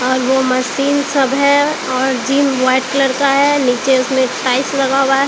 और वो मशीन सब है और जिम व्हाइट कलर का है नीचे उसमें टाइल्स लगा हुआ है।